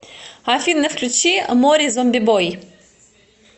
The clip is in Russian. афина включи мори зомбибой